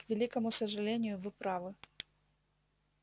к великому сожалению вы правы